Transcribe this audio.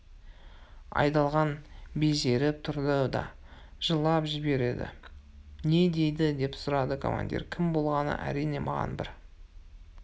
айдалған безеріп тұрды да жылап жіберді не дейді деп сұрады командир кім болғаны әрине маған бір